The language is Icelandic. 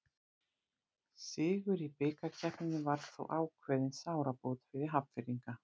Sigur í bikarkeppninni var þó ákveðin sárabót fyrir Hafnfirðinga.